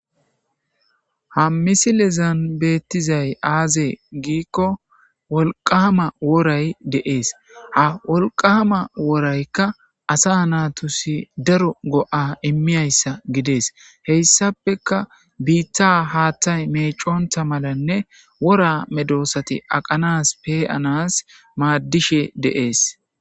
ha misilezan beettizay aazee giikko wolqama woray deees ha wolqama woraykka asa naatusi daro go7a immiyayssa gides heyssapeka biitta haaththay meeconta malanne wora medoosati aqanas pe'anas maaddishe de'ees